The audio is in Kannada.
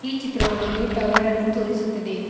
ಈ ಚಿತ್ರವು ಒಂದು ಟವರ್ ಅನ್ನು ತೋರಿಸುತ್ತದೆ.